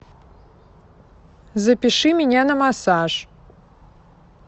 запиши меня на массаж